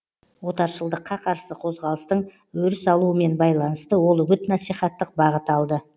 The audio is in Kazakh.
отаршылдыққа қарсы қозғалыстың өріс алуымен байланысты ол үгіт насихаттық бағыт алды